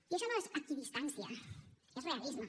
i això no és equidistància és realisme